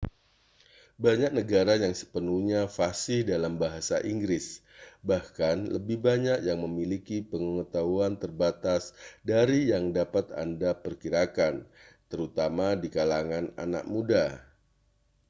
banyak negara yang sepenuhnya fasih dalam bahasa inggris bahkan lebih banyak yang memiliki pengetahuan terbatas dari yang dapat anda perkirakan terutama di kalangan anak muda